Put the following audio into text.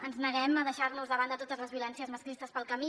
ens neguem a deixar nos de banda totes les violències masclistes pel camí